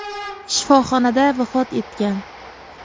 shifoxonada vafot etgan.